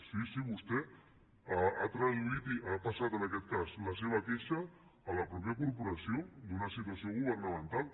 sí sí vostè ha traduït ha passat en aquest cas la seva queixa a la mateixa corporació d’una situació governamental